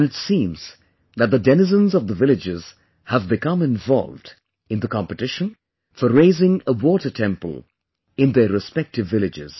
And it seems that the denizens of the villages have become involved in the competition for raising a 'water temple,' in their respective villages